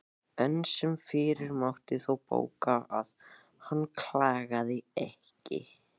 Enn sem fyrr mátti þó bóka að hann klagaði ekki.